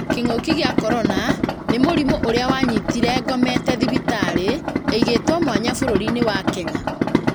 Kĩng'oki gĩa korona nĩ mũrimũ ũria wanyitire ngomete thibitarĩ ĩĩgĩtwo mwanyai bũrũri wa Kenya